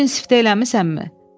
Büyün siftə eləmisənmi?